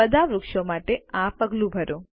બધા વૃક્ષો માટે આ પગલું ભરો